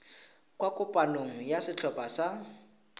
kwa kopanong ya setlhopha sa